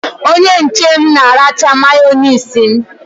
Onye nche m na-aracha Mayonezi m.